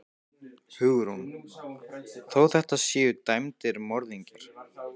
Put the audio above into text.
Hugrún: Þó þetta séu dæmdir morðingjar?